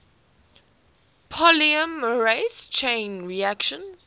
polymerase chain reaction